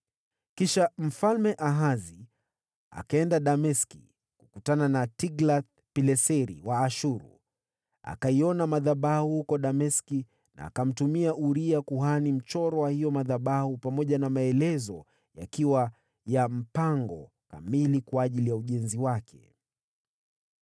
Kisha Mfalme Ahazi akaenda Dameski kukutana na Tiglath-Pileseri wa Ashuru. Akaona madhabahu huko Dameski, naye akamtumia Uria kuhani mchoro wa hayo madhabahu, pamoja na maelezo ya mpango kamili wa ujenzi wake.